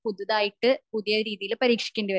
പുതുതായിട്ട് പുതിയ രീതിൽ പരീക്ഷിക്കേണ്ടി വരും